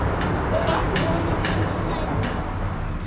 Konan hans hlær líka.